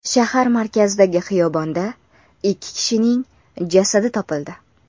Shahar markazidagi xiyobonda ikki kishining jasadi topildi.